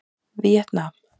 Víetnam